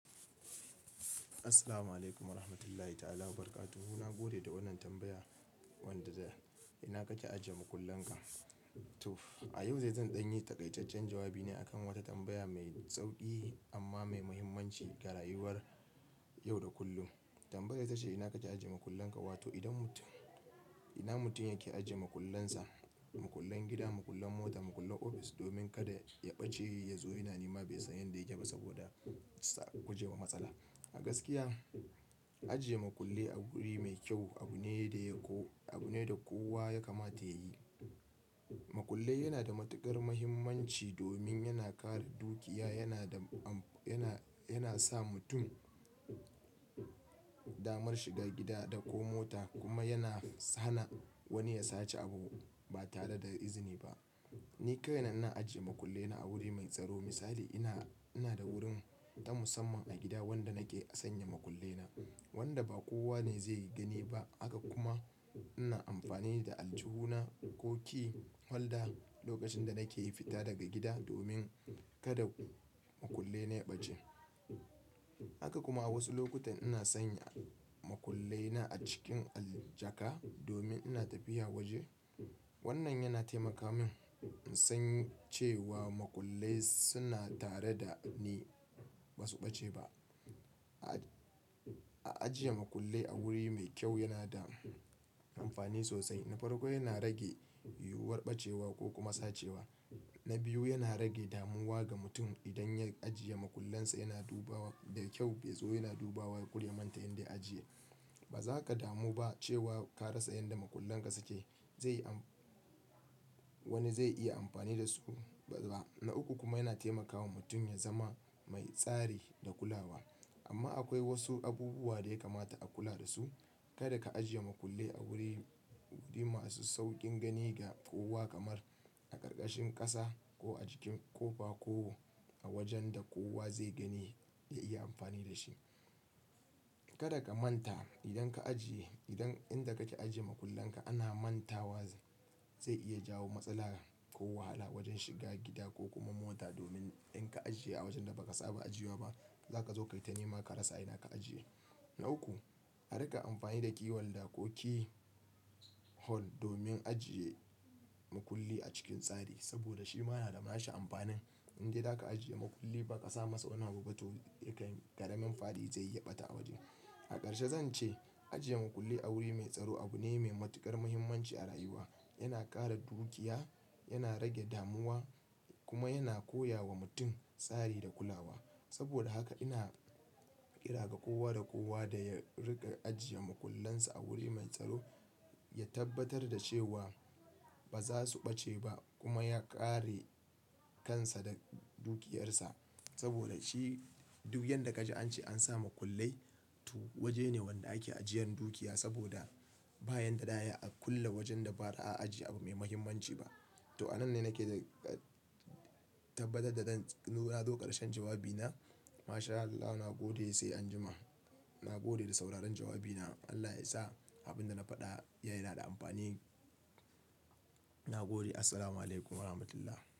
Assalamu alaikum wa rahmatullahi ta'ala wa barakatu. Na gode da wannan tambaya wanda za. Ina kake ajiye makullin ka? To, a yau zai zan ɗanyi taƙaitaccen jawabi ne akan wata tambaya mai sauki amma mai mahimmanci ga rayuwar yau da kullun. Tambayar ta ce, ina kake ajiye makullin ka? Wato idan mutum, ina mutum yake ajiye makullansa, makullan gida, makullan mota, makullan ofis domin kada ya ɓace yazo yana nema bai san yanda ya ke ba saboda sa a guje wa matsala. A gaskiya, ajiye makullai a wuri mai kyau abu ne da ya ko, abu ne da kowa ya kamata ya yi. Makullai yana da matuƙar mahimmanci domin yana kare dukiya, yana da am, yana, yana sa mutum damar shiga gida da ko mota kuma yana hana wani ya sace abu ba tare da izini ba. Ni ko ina ajiye makullena a wuri mai tsaro. Misali ina, ina da wurin na musamman a gida wanda nake a sanya makullena wanda ba kowa ne zai gani ba. Haka kuma ina amfani da aljihuna, ƙo ƙi, holda lokacin da nake fita daga gida domin kada makullai na ya ɓace. Haka kuma a wasu lokutan ina sanya makullena a cikin al jaka domin ina tafiya waje. Wannan yana taimaka min in san cewa makullai suna tare da ni ba su ɓace ba. A ajiye makullai a wuri mai kyau yana da amfani sosai. Na farko yana rage yiwuwar ɓacewa ko kuma sacewa. Na biyu yana rage damuwa ga mutum idan ya ajiye makullansa yana duba wa da kyau, bai zo yana dubawa kur ya manta inda ya ajiye. Ba za ka damu ba cewa ka rasa yanda makullan ka suke. Zai am, wani zai iya amfani da su ba. Na uku kuma yana taimakawa mutum ya zama mai tsari da kulawa. Amma akwai wasu abubuwa da ya kamata a kula da su. Kada ka ajiye makulli a wuri, wuri masu sauƙin gani ga kowa kamar a ƙarƙashin ƙasa ko a cikin ƙofa ko a wajen da kowa zai gani ya iya amfani da shi. Kada ka manta idan ka ajiye, idan inda kake ajiye makullan ka ana manta wa zai iya jawo matsala ko wahala wajen shiga gida ko kuma mota domin in ka ajiye a wajen da ba ka saba ajiyewa ba, za ka zo kayi ta nema ka rasa a ina ka ajiye. Na uku, a rika amfani da ƙiwalda, ko key hold domin ajiye makulli a cikin tsari saboda shi ma na da nashi amfanin. In dai da ka ajiye makulli ba ka sa masa wani abu ba to yakan, ƙaramin fadi zai yi yaɓata a waje. A ƙarshe zan ce ajiye makulli a wuri mai tsaro abu ne mai matuƙar muhimmanci a rayuwa. Yana ƙara dukiya, yana rage damuwa kuma yana koya wa mutum tsari da kulawa. Saboda haka ina ƙira ga kowa da kowa da ya riƙa ajiye makullansa a wuri mai tsaro, ya tabbatar da cewa ba za su ɓace ba kuma ya kare kansa da dukiyarsa. Saboda shi duk yanda ka ji an ce an sa makullai to waje ne wanda ake ajiyan dukiya saboda bayanda da ayi a kulle wajen da ba ra a ajiye abu mai mahimmanci ba. To a nan ne nake da ka tabbatar da ɗan, zo na zo ƙarshen jawabina. MashAllah na gode sai anjima. Na gode da sauraron jawabina. Allah ya sa abin da na faɗa ya nada amfani. Na gode. Assalamu alaikum wa rahmatullah.